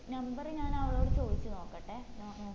number ഞാൻ അവളോട് ചോയ്ച്ചു നോക്കട്ടെ